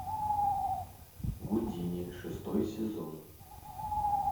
гудини шестой сезон